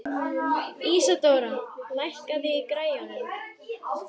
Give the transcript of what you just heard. Ísadóra, lækkaðu í græjunum.